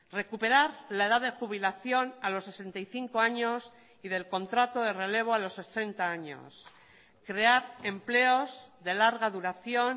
recuperar la edad de jubilación a los sesenta y cinco años y del contrato de relevo a los sesenta años crear empleos de larga duración